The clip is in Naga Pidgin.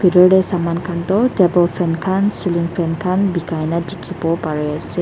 bitor dae saman khan toh table fan khan ceiling fan bikai na dikipo pari asae.